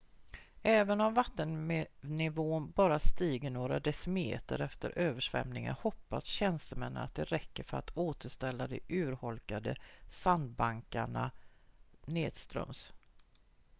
även om vattennivån bara stiger några decimeter efter översvämningen hoppas tjänstemännen att det räcker för att återställa de urholkade sandbankerna nedströms